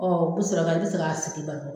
Ɔ ko Sira ka, ne tɛ se ka sigi balo.